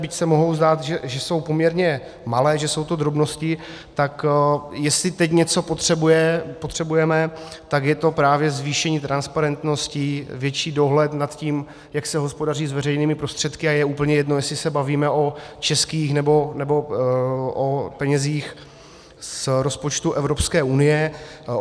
Byť se může zdát, že jsou poměrně malé, že jsou to drobnosti, tak jestli teď něco potřebujeme, tak je to právě zvýšení transparentnosti, větší dohled nad tím, jak se hospodaří s veřejnými prostředky, a je úplně jedno, jestli se bavíme o českých nebo o penězích z rozpočtu Evropské unie.